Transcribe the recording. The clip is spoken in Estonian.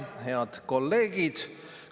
Head kolleegid!